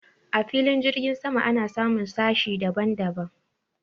a filin jirgi sama ana samun sashe daban daban